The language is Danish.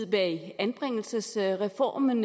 bag anbringelsesreformen